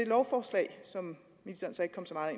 lovforslag som ministeren så ikke kom så meget